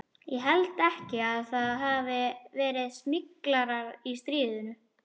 Ég held ekki að það hafi verið smyglarar í stríðinu.